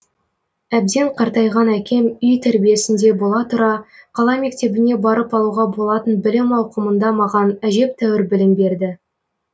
әбден қартайған әкем үй тәрбиесінде бола тұра қала мектебіне барып алуға болатын білім ауқымында маған әжептәуір білім берді